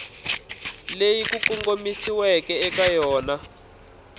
leyi ku kongomisiweke eka yona